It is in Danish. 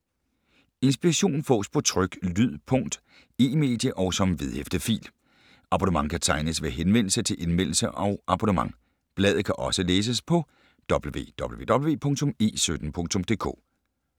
Inspiration fås på tryk, lyd, punkt, e-medie og som vedhæftet fil. Abonnement kan tegnes ved henvendelse til Indmeldelse og abonnement. Bladet kan også læses på www.e17.dk